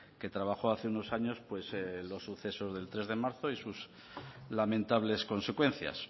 que trabajó hace unos años pues en los sucesos del tres de marzo y sus lamentables consecuencias